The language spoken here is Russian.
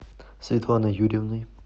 светланой юрьевной